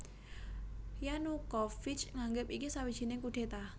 Yanukovych nganggep iki sawijining kudéta